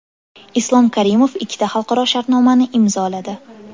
Islom Karimov ikkita xalqaro shartnomani imzoladi.